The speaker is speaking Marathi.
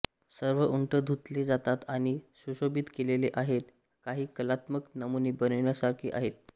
सर्व उंट धुतले जातात आणि सुशोभित केलेले आहेत काही कलात्मक नमुने बनविण्यासारखे आहेत